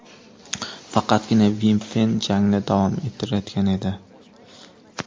Faqatgina Vimpfen jangni davom ettirayotgan edi.